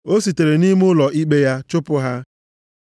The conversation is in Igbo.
O sitere nʼime ụlọ ikpe ya chụpụ ha.